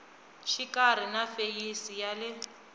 xikarhi na feyisi ya le